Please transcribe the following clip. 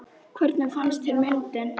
Hvernig fannst þér myndin?